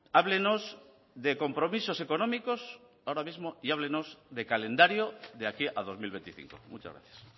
háblenos de compromisos económicos ahora mismo y háblenos de calendario de aquí a dos mil veinticinco muchas gracias